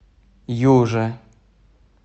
юже